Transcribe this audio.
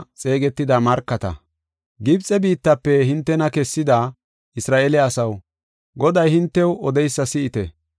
Gibxe biittafe hintena kessida, Isra7eele asaw, Goday hintew odeysa si7ite.